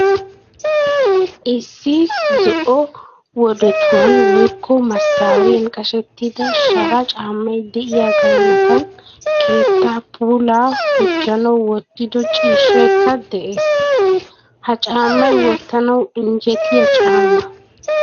Isssi zo'o wodotuwan woykko maasariyan qashettida shara caammay de'iyagaa matan keettaa puulaa hujjanawu wottido ciishshaykka de'ees? Ha caammay wottanawu injjetiya caamma.